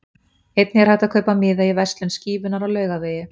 Einnig er hægt að kaupa miða í verslun Skífunnar á Laugavegi.